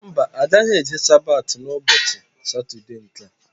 Mba, agaghị eje Sabati ụbọchị Satọdee nkea